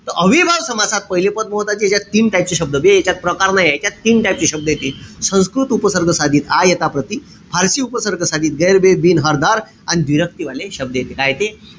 त अव्ययीभाव समासात पहिले पद महत्वाचे. यांच्यात तीन type चे शब्द बे यांच्यात प्रकार नाहिये. यांच्यात तीन type चे शब्द येतील. संस्कृत उपसर्ग साधित. आ, यथा, प्रति. फारशी उपसर्ग साधित, गैर, बे, बिन, हर, दर. अन व्दिरक्ती वाले शब्द येते. काय येते?